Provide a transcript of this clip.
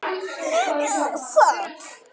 Ég sat.